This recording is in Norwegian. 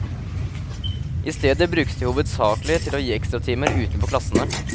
I stedet brukes de hovedsakelig til å gi ekstratimer utenfor klassene.